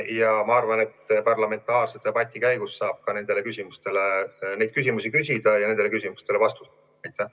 Aga ma arvan, et parlamentaarse debati käigus saab ka neid küsimusi küsida ja nendele küsimustele vastuse.